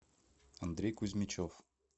андрей кузьмичев